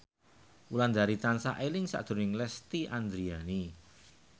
Wulandari tansah eling sakjroning Lesti Andryani